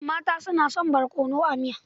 Mata suna son barkonoa miya.